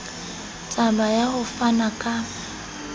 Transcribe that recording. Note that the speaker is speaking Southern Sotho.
taba ya ho fana ka